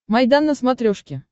майдан на смотрешке